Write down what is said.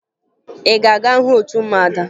Ị ga-aga hụ otu ụmụada?